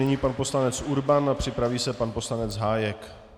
Nyní pan poslanec Urban a připraví se pan poslanec Hájek.